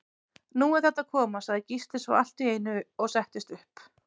Nú er þetta að koma, sagði Gísli svo allt í einu og settist upp.